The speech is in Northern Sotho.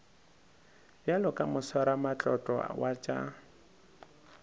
bjalo ka moswaramatlotlo wa tša